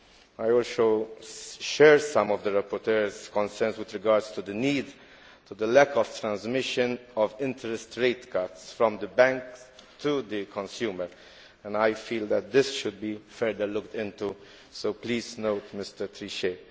I also share some of the rapporteur's concerns with regard to the lack of transmission of interest rate cuts from the bank to the consumer and I feel that this should be further looked into, so please take note, Mr Trichet.